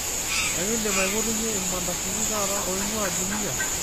ekindim aipotunyie ilmandasini taata oing'ua jumia